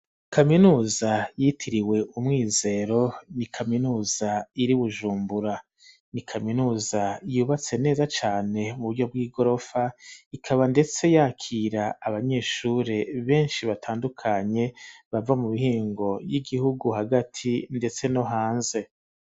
kaminuza yitiriwe umwizero ni kaminuza iri Bujumbura ni kaminuza yubatse neza cane mu buryo bw'igorofa ikaba ndetse yakira abanyeshuri beshi batandukanye bava mu bihingo y'igihugu hagati ndetse no hanze.